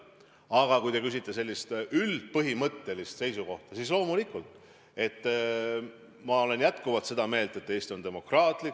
Aga kui te küsite sellist põhimõttelist seisukohta, siis loomulikult ma olen seda meelt, et Eesti on demokraatlik riik.